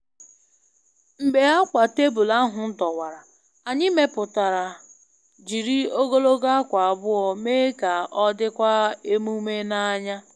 Mgbe akwa tebụl ahụ dọwara, anyị meputara jiri ogologo akwa abụọ mee ka ọ dịkwa emume n'anya.